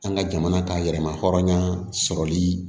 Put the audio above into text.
An ka jamana ka yɛrɛma hɔrɔnya sɔrɔli